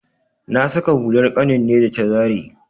Na saƙa hular ƙanin ne ta da zare.